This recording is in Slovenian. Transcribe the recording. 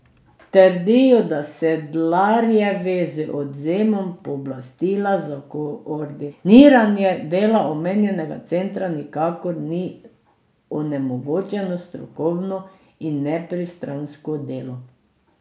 Trdijo, da Sedlarjevi z odvzemom pooblastila za koordiniranje dela omenjenega centra nikakor ni onemogočeno strokovno in nepristransko delo.